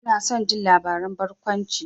Ina son jin labaran barkwanci.